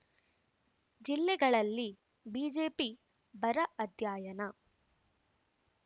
ಜಿಲ್ಲೆಗಳಲ್ಲಿ ಬಿಜೆಪಿ ಬರ ಅಧ್ಯಯನ